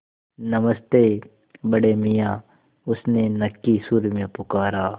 नमस्ते बड़े मियाँ उसने नक्की सुर में पुकारा